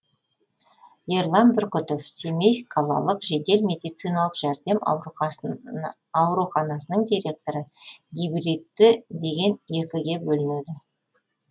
ерлан бүркітов семей қалалық жедел медициналық жәрдем ауруханасының директоры гибридті деген екіге бөлінеді